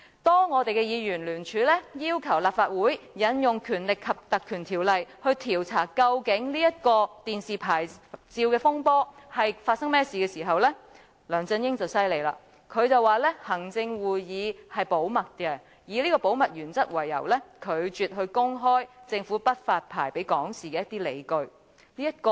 當議員聯署要求立法會引用《立法會條例》來調查究竟電視牌照的風波發生甚麼事，梁振英便厲害了，他說行會的決定是保密的，以保密原則為由，拒絕公開政府不發牌予港視的理據。